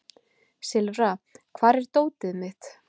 Silfra, hvar er dótið mitt?